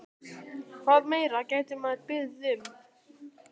Hvað meira gæti maður beðið um?